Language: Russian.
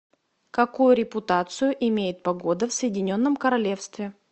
какую репутацию имеет погода в соединенном королевстве